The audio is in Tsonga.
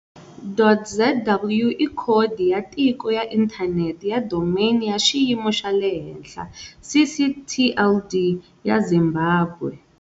.zw i khodi ya tiko ya inthanete ya domain ya xiyimo xa le henhla, ccTLD, ya Zimbabwe.